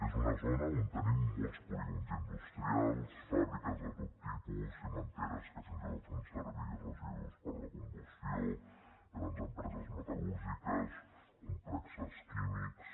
és una zona on tenim molts polígons industrials fàbriques de tot tipus cimenteres que fins i tot fan servir residus per a la combustió grans empreses metal·lúrgiques complexos químics